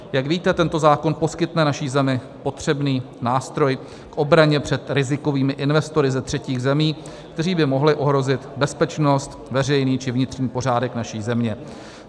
Jak víte, tento zákon poskytne naší zemi potřebný nástroj k obraně před rizikovými investory ze třetích zemí, kteří by mohli ohrozit bezpečnost, veřejný či vnitřní pořádek naší země.